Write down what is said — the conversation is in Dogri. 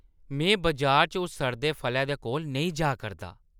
में बजारै च उस सड़दे फलै दे कोल नेईं जा करदा।